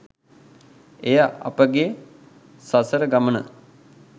එය අපගේ සසර ගමන